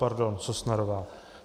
Pardon. Sosnarová.